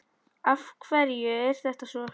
Af hverju er þetta svo?